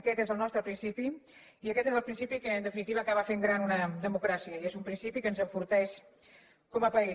aquest és el nostre principi i aquest és el principi que en definitiva acaba fent gran una democràcia i és un principi que ens enforteix com a país